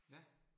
Ja